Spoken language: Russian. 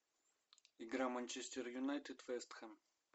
игра манчестер юнайтед вест хэм